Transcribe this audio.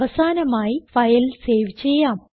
അവസാനമായി file save ചെയ്യാം